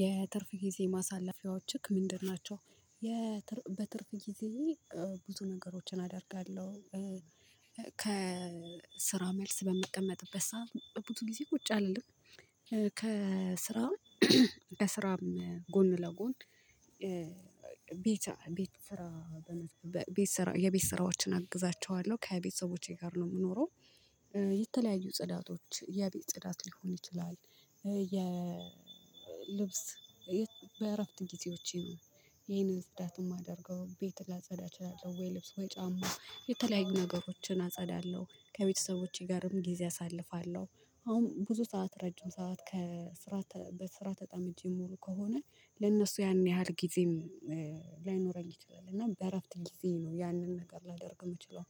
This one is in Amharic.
የትርፍ ጊዜ ማሳለፊያዎችህ ምንድን ናቸው? በትርፍ ጊዜ ብዙ ነገሮችን አደርጋለሁ። ከስራው መልስ በምቀመጥበት ሰዓት ብዙ ጊዜ ቁጭ አልልም ከስራ ከስራ ጎን ለጎን። ቤት ቤት ስራ ቤት ስራ የቤት ስራዎችን አግዛቸዋለሁ ከቤተሰቦቼ ጋር ነው የምኖረው። የተለያዩ ጽዳቶች የቤት ጽዳት ሊሆን ይችላል። የልብስ በእረፍት ጊዜዎቼ ነው ይሄንን ጽዳት የማደርገው ቤት ላጸዳ እችላለሁ ወይ ልብስ ወይ ጫማ የተለያዩ ነገሮችን አጸዳለሁ ከቤተሰቦቼ ጋርም ጊዜ አሳልፋለሁ። አሁን ብዙ ሰዓት ረጅም ሰዓት ከስራ በስራ ተጠምጄ ምውል ከሆነ ለእነሱ ያን ያህል ጊዜም ይችላል እና በእረፍት ጊዜ ነው ያንን ነገር ላደርግ የምችለው።